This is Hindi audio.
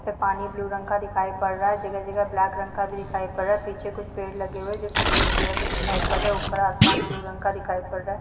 प पानी ब्लू रंग का दिखाई पड़ रहा है जगह-जगह ब्लैक रंग का भी दिखाई पड़ रहा है पीछे कुछ पेड़ लगे हुए हैं जो की ग्रीन कलर में दिखाई पड़ रहा है ऊपर आसमान ब्लू रंग का दिखाई पड़ रहा है।